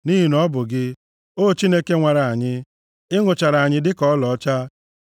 Nʼihi na ọ bụ gị, O Chineke, nwara anyị; ị nụchara anyị dịka ọlaọcha.